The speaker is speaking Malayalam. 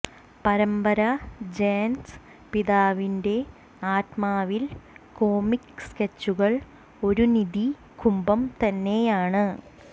പരമ്പര ജേൻസ് പിതാവിന്റെ ആത്മാവിൽ കോമിക്ക് സ്കെച്ചുകൾ ഒരു നിധി കുംഭം തന്നെയാണ്